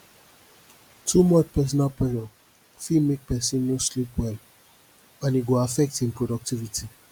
too much personal pressure fit mek pesin no sleep well and e go affect im productivity